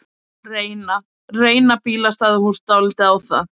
Reyna, reyna bílastæðahús dálítið á það?